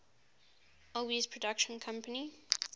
alby's production company